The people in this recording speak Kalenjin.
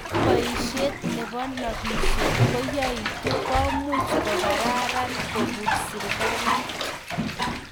ingaa boishet nebo nobishet koyaagitu komuch kegararan kobuns serikalit